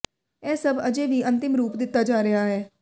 ਇਹ ਸਭ ਅਜੇ ਵੀ ਅੰਤਿਮ ਰੂਪ ਦਿੱਤਾ ਜਾ ਰਿਹਾ ਹੈ